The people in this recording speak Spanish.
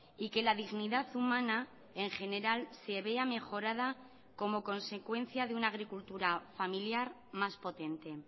y que la dignidad humana en general se vea mejorada como consecuencia de una agricultura familiar más potente